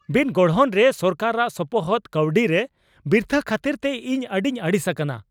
ᱵᱤᱱᱜᱚᱲᱦᱚᱱ ᱨᱮ ᱥᱚᱨᱠᱟᱨᱟᱜ ᱥᱚᱯᱚᱦᱚᱫ ᱜᱟᱹᱣᱰᱤ ᱨᱮ ᱵᱤᱨᱛᱷᱟᱹ ᱠᱷᱟᱹᱛᱤᱨᱛᱮ ᱤᱧ ᱟᱹᱰᱤᱧ ᱟᱹᱲᱤᱥ ᱟᱠᱟᱱᱟ ᱾